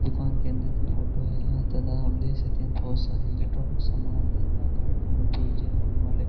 दुकान के अंदर की फोटो है यहां तथा हम देख सकते हैं बहुत सारे इलेक्ट्रॉनिक सामान तथा गाड़ियों में वाले --